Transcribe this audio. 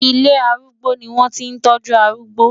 Ilé arúgbó ni wọ́n ti ń tọ́jú arúgbó.